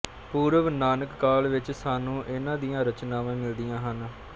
ਪੂਰਵ ਨਾਨਕ ਕਾਲ ਵਿੱਚ ਸਾਨੂੰ ਇਨ੍ਹਾਂ ਦੀਆਂ ਰਚਨਾਵਾਂ ਮਿਲਦੀਆਂ ਹਨ